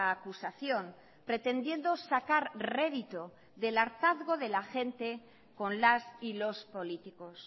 acusación pretendiendo sacar rédito del hartazgo de la gente con las y los políticos